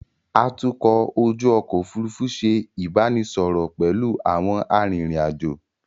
Atukọ̀ ojú ọkọ̀ Òfurufú ṣe ìbánisọọ̀rọ̀ pẹ̀lú àwọn arìnrìn-àjò.